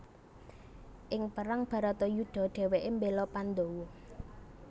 Ing perang Bharatayudha dhèwèké mbéla Pandawa